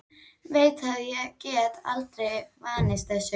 Veit að ég get aldrei vanist þessu.